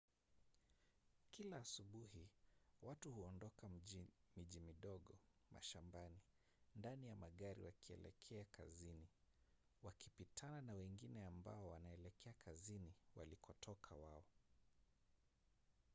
kila asubuhi watu huondoka miji midogo mashambani ndani ya magari wakielekea kazini wakipitana na wengine ambao wanaelekea kazini walikotoka wao